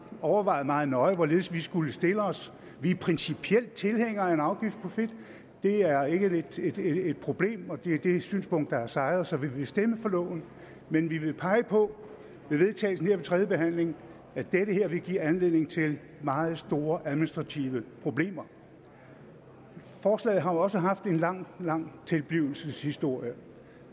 overvejet meget nøje hvorledes vi skulle stille os vi er principielt tilhængere af en afgift på fedt det er ikke et problem og det er det synspunkt der har sejret så vi vil stemme for loven men vi vil pege på ved vedtagelsen her ved tredjebehandlingen at det her vil give anledning til meget store administrative problemer forslaget har jo også haft en lang lang tilblivelseshistorie